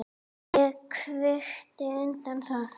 Ég kvitta undir það.